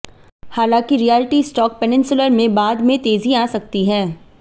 हालांकि realty stock peninsular में बाद में तेजी आ सकती है